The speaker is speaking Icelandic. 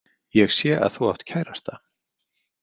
Ég sé að þú átt kærasta.